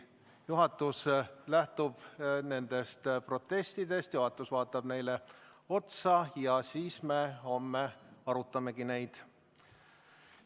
Juhatus lähtub nendest protestidest, vaatab neile otsa, ja siis me homme arutamegi neid.